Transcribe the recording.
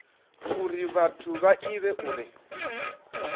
uri vhathu vha ivhe uri